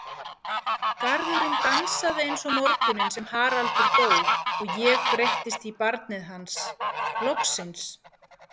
Garðurinn dansaði eins og morguninn sem Haraldur dó og ég breyttist í barnið hans, loksins.